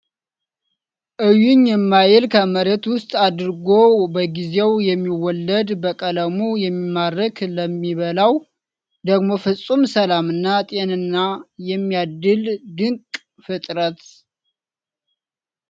እዩኝ የማይል ከመሬት ውስጥ አድጎ በጊዜው የሚወለድ ፤ በቀለሙ የሚማርክ ፤ ለሚበላው ደግሞ ፍፁም ሰላም እና ጤናን የሚያድል ድንቅ ፍጥረት።